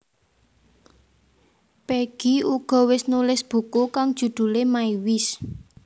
Peggy uga wis nulis buku kang judhulé My Wish